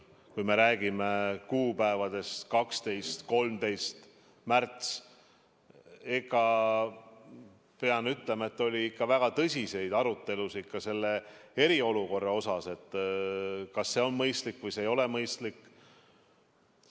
Kui me räägime kuupäevadest 12. või 13. märts, siis pean ütlema, et oli ikka väga tõsiseid arutelusid ka selle eriolukorra üle, kas see on mõistlik või see ei ole mõistlik.